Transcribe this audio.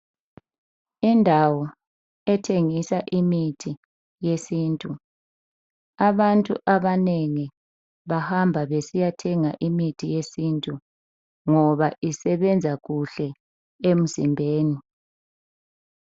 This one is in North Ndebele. Indawo ethengisa imithi yesintu, abantu abanengi abanengi bahamba besiya thenga imithi yesintu ngaba isebenza kuhle emzimbeni